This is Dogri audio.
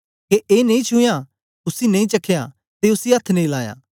के ए नेई छुयां उसी नेई चखया ते उसी अथ्थ नेई लायां